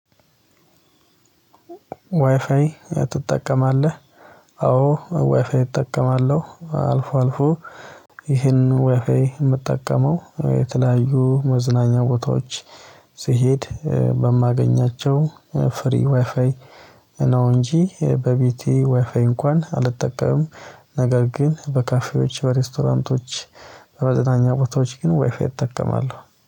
ዋይፋይ ትጠቀማለህ? አዎ ዋይፋይ እጠቀማለሁ አልፎ አልፎ ይህን ዎይፋይ የምጠቀመው የተለያዩ መዝናኛ ቦታዎች ስሄድ በማገኛቸው ፍሪ ዋይፋይ ነው እንጂ በቤቴ ዋይፋዬ እንኳን አልጠቀምም። ነገር ግን በካፌዎች በሬስቶራንቶች በመዝናኛ ቦታዎች ግን ዎይፋይ እጠቀማለሁ